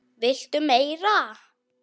VILTU MEIRA?